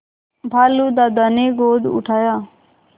भालू दादा ने गोद उठाया